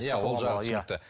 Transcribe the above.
иә ол жағы түсінікті